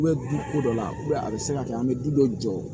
N bɛ du ko dɔ la a bɛ se ka kɛ an bɛ du dɔ jɔ